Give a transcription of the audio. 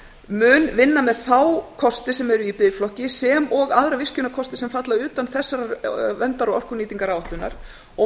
mun vinna með þá kosti sem eru í biðflokki sem og aðra virkjunarkosti sem falla utan þessarar verndar og orkunýtingaráætlunar og